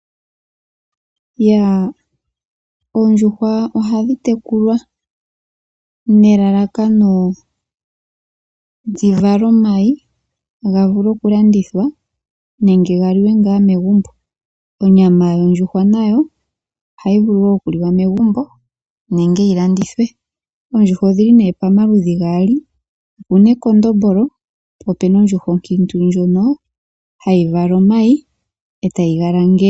Oondjuhwa ohadhi tekulwa nelalakano dhi vale omayi ga vule okulandithwa nenge ga liwe ngaa megumbo. Onyama yondjuhwa nayo ohayi vulu wo okuliwa megumbo nenge yi landithwe. Oondjuhwa odhi li pamaludhi gaali, opu na ekondombolo po opu na ondjuhwa onkiintu ndjono hayi vala omayi e tayi ga langele.